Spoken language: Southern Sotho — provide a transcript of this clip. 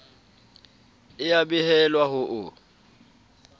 e a behelwa ho o